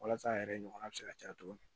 Walasa a yɛrɛ ɲɔgɔnna bɛ se ka caya cogo min